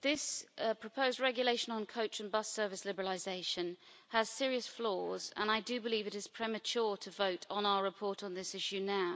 this proposed regulation on coach and bus service liberalisation has serious flaws and I believe it is premature to vote on our report on this issue now.